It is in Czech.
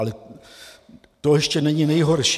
Ale to ještě není nejhorší.